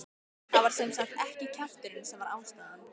Það var sem sagt ekki kjafturinn sem var ástæðan.